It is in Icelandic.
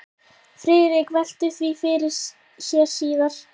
Friðrik velti því fyrir sér síðar.